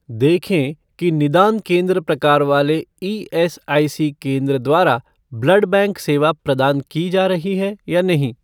देखें कि निदान केंद्र प्रकार वाले ईएसआईसी केंद्र द्वारा ब्लड बैंक सेवा प्रदान की जा रही है या नहीं?